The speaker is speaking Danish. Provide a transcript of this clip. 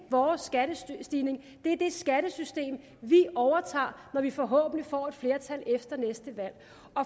vores skattestigning det er det skattesystem vi overtager når vi forhåbentlig får et flertal efter næste valg